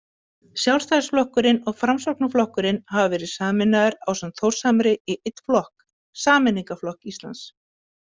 Sjálfstæðisflokkurinn og Framsóknarflokkurinn hafa verið sameinaðir ásamt Þórshamri í einn flokk, Sameiningarflokk Íslands.